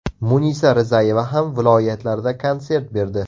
Munisa Rizayeva ham viloyatlarda konsert berdi.